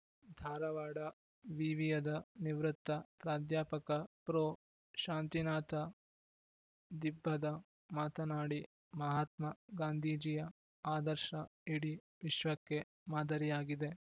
ಧಾರವಾಡ ವಿವಿಯದ ನಿವೃತ್ತ ಪ್ರಾಧ್ಯಾಪಕ ಪ್ರೊಶಾಂತಿನಾಥ ದಿಬ್ಬದ ಮಾತನಾಡಿ ಮಹಾತ್ಮ ಗಾಂಧೀಜಿಯ ಆದರ್ಶ ಇಡೀ ವಿಶ್ವಕ್ಕೆ ಮಾದರಿಯಾಗಿದೆ